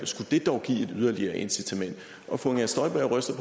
skulle det dog give et yderligere incitament fru inger støjberg ryster